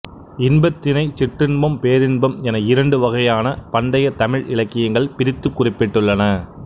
இன்பத்தினைச் சிற்றின்பம் பேரின்பம் என இரண்டு வகையாக பண்டைய தமிழ் இலக்கியங்கள் பிரித்துக் குறிப்பிட்டுள்ளன